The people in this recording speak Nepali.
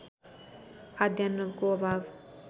खाद्यान्नको अभाव